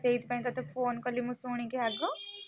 ତତେ ସେଇଥିପାଇଁ phone କଲି ମୁଁ ଶୁଣିକି ଆଗ।